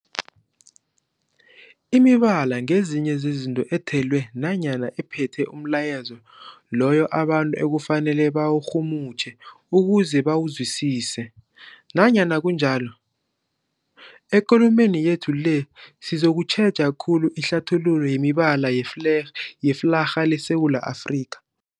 Imibala ngezinye zezinto ethelwe nanyana ephethe umlayezo loyo abantu ekufanele bawurhumutjhe ukuze bawuzwisise. Nanyana kunjalo, ekulumeni yethu le sizokutjheja khulu ihlathululo yemibala yefle yeflarha yeSewula Afrika.